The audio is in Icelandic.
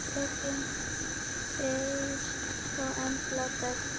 Fjölnir Freyr og Embla Dögg.